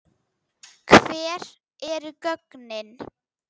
Hver eru gögnin?